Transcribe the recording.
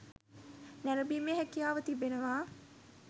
නැරඹීමේ හැකියාව තිබෙනවා